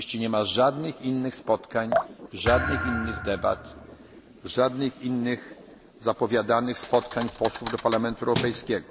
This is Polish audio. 11.30 nie ma żadnych innych spotkań, żadnych innych debat, żadnych innych zapowiadanych spotkań posłów do Parlamentu